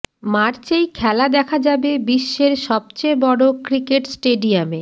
মার্চেই খেলা দেখা যাবে বিশ্বের সবচেয়ে বড় ক্রিকেট স্টেডিয়ামে